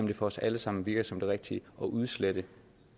det for os alle sammen virker som det rigtige at udslette